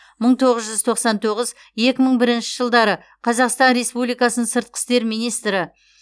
мың тоғыз жүз тоқсан тоғыз екі мың бірінші жылдары қазақстан республикасының сыртқы істер министрі